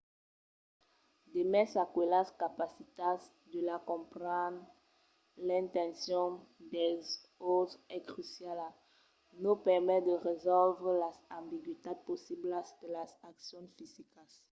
demest aquelas capacitats la de comprendre l’intencion dels autres es cruciala. nos permet de resòlvre las ambigüitats possiblas de las accions fisicas